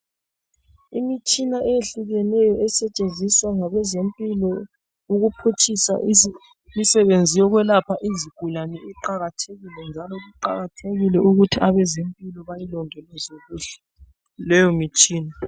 Imitshina eyehlukeneyo esetshenziswa ngabezempilo ukuphutshisa imisebenzi yokwelapha izigulane iqakathekile njalo kuqakathekile ukuthi abezempilo bayilondoloze kuhle leyo mitshina.